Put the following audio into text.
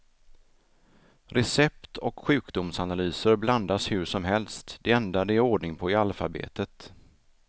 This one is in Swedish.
Recept och sjukdomsanalyser blandas hur som helst, det enda det är ordning på är alfabetet.